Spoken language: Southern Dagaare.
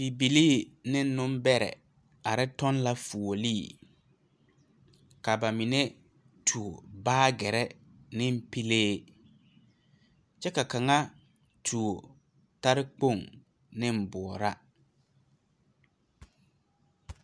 Bibilii neŋ nimbɛrrɛ are tɔŋ la fuolee ka ba mine tuo baagyirre neŋ pilee kyɛ ka kaŋa tuo tarekpoŋ neŋ boɔraa.